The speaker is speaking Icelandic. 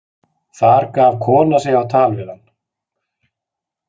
Þar gaf kona sig á tal við hann.